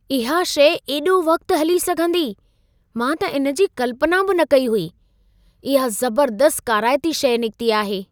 इहा शइ एॾो वक़्तु हली सघंदी, मां त इन जी कल्पना बि न कई हुई। इहा ज़बर्दस्तु काराइती शइ निकिती आहे।